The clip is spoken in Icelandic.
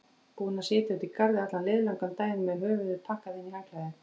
Búin að sitja úti í garði allan liðlangan daginn með höfuðið pakkað inn í handklæði.